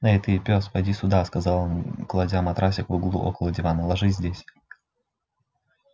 эй ты пёс поди сюда сказал он кладя матрасик в углу около дивана ложись здесь